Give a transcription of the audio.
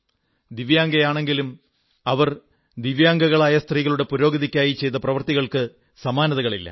സ്വയം ദിവ്യാംഗയാണെങ്കിലും അവർ ദിവ്യാംഗകളായ സ്ത്രീകളുടെ പുരോഗതിക്കായി ചെയ്ത പ്രവർത്തികൾക്കു സമാനതകളില്ല